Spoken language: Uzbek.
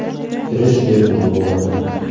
Kirish bepul bo‘ldi.